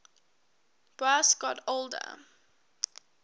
boas got older